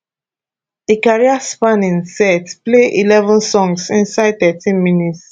di careerspanning set play eleven songs inside thirteen minutes